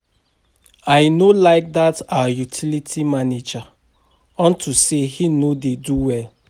I no like dat our utility manager unto say he no dey do well